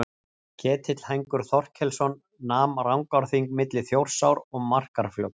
Ketill hængur Þorkelsson nam Rangárþing milli Þjórsár og Markarfljóts.